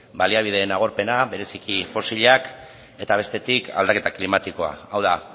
baliabideen agorpena bereziki fosilak eta bestetik aldaketa klimatikoa hau da